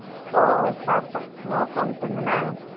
ஒ சாப்புடன் மோர் கொழம்பு செய்ஜனா